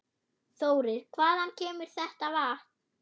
Þórir: Hvaðan kemur þetta vatn?